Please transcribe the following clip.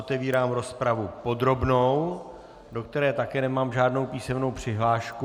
Otevírám rozpravu podrobnou, do které také nemám žádnou písemnou přihlášku.